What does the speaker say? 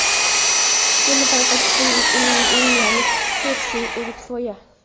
Buni payqash uchun uning o‘yinlarini kuzatishning o‘zi kifoya.